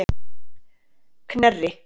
Knerri